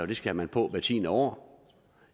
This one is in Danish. det skal man på hvert tiende år